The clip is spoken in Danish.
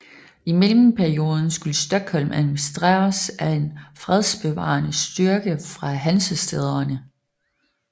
I mellemperioden skulle Stockholm administreres af en fredsbevarende styrke fra hansestæderne